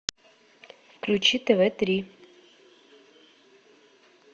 включи тв три